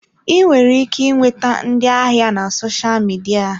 Ị nwere ike nweta ndị ahịa na sosha midia.